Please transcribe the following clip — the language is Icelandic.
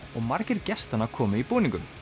og margir gestanna komu í búningum